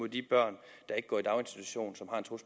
de børn der ikke går i daginstitution